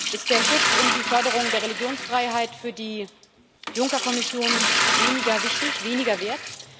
Ist der Schutz und die Förderung der Religionsfreiheit für die Juncker Kommission weniger wichtig, weniger wert?